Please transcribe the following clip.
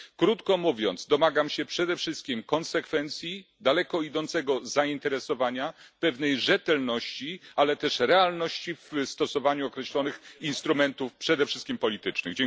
Krótko mówiąc, domagam się przede wszystkim konsekwencji, daleko idącego zainteresowania, pewnej rzetelności, ale też realizmu w stosowaniu określonych instrumentów, przede wszystkim politycznych.